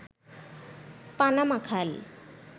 Panama খাল